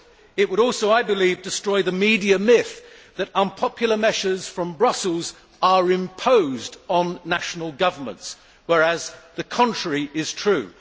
It would also, I believe, destroy the media myth that unpopular measures from Brussels are imposed on national governments, whereas the contrary is true.